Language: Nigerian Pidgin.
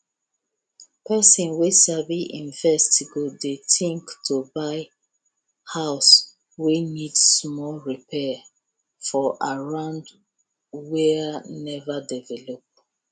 person wey sabi invest go dey think to buy house wey need small repair for area wey never develop